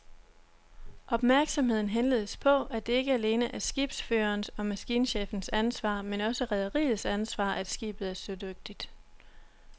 Opmærksomheden henledes på, at det ikke alene er skibsførerens og maskinchefens ansvar, men også rederiets ansvar, at skibet er sødygtigt.